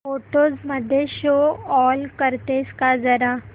photos मध्ये show all करतेस का जरा